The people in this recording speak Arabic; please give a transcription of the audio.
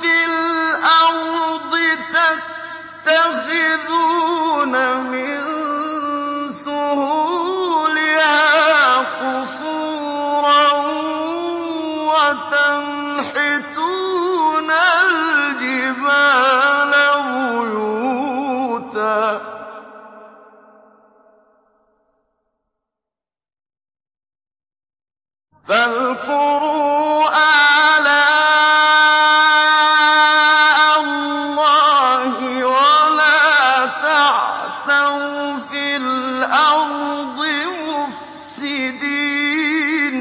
فِي الْأَرْضِ تَتَّخِذُونَ مِن سُهُولِهَا قُصُورًا وَتَنْحِتُونَ الْجِبَالَ بُيُوتًا ۖ فَاذْكُرُوا آلَاءَ اللَّهِ وَلَا تَعْثَوْا فِي الْأَرْضِ مُفْسِدِينَ